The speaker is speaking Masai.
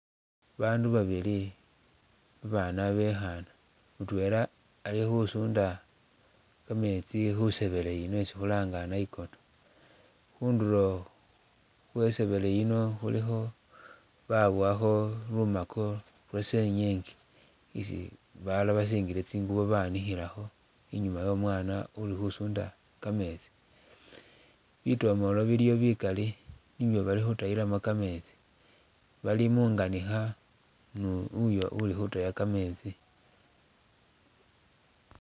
Bandu babili babana abekhana mutwela ali khusunda kametsi khusebele mwesi khulanga nayikoto, khundulo khwesebele yino khulikho babowakho lumako lwasenyenge isi balala basingile tsingubo banikhilakho i'nyuma womwana uli khusunda kametsi, bitomolo biliyo bikali nibyo bali khutayilamo kametsi, bali munganikha ni uyo uli khutaya kametsi